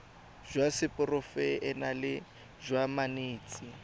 jwa seporofe enale jwa banetshi